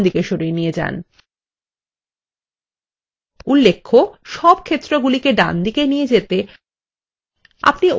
উল্লেখ্য সব ক্ষেত্রগুলিকে ডানদিকে নিয়ে যেতে আপনি ওই জোড়া তীর বোতাম ব্যবহার করতে পারেন যেটি ডানদিকে মুখ করে আছে